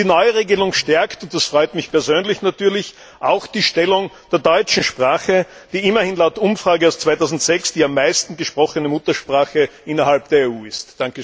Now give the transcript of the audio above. Die Neuregelung stärkt und das freut mich persönlich natürlich auch die Stellung der deutschen Sprache, die immerhin laut Umfrage aus 2006 die am meisten gesprochene Muttersprache innerhalb der EU ist.